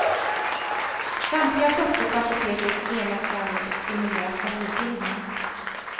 Samtliga sorter på apoteket lenar svalget och stimulerar salivbildning.